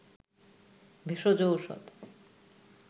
ভেষজ ঔষধ